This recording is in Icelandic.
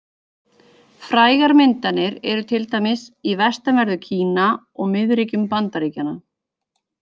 Frægar myndanir eru til dæmis í vestanverðu Kína og miðríkjum Bandaríkjanna.